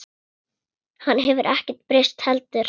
Hann hefur ekkert breyst heldur.